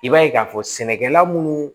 I b'a ye k'a fɔ sɛnɛkɛla munnu